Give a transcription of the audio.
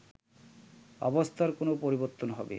অবস্থার কোন পরিবর্তন হবে